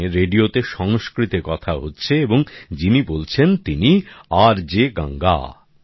এখানে রেডিওতে সংস্কৃতে কথা হচ্ছে এবং যিনি বলছেন তিনি আরজে গঙ্গা